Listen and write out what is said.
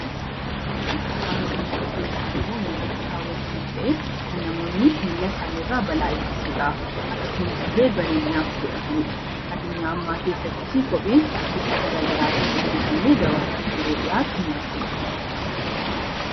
Kopheen wanta miilatti kaawwatamu ta'ee kan namoonni ofirraa bal'aa ittisuudhaaf akkasumas illee bareedinaaf godhatanidha. Addunyaa ammaa keessatti kopheen karaa garaagaraatiin hojjatamee gabaaf dhiyaatan.